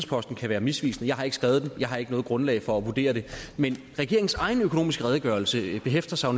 posten kan være misvisende jeg har ikke skrevet den jeg har ikke noget grundlag for at vurdere det men regeringens egen økonomiske redegørelse hæfter sig